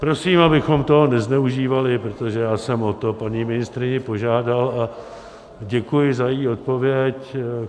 Prosím, abychom toho nezneužívali, protože já jsem o to paní ministryni požádal a děkuji za její odpověď.